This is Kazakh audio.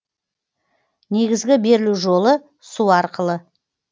негізгі берілу жолы су арқылы